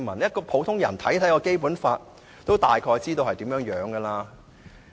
即使普通人看《基本法》，也大概看得出來。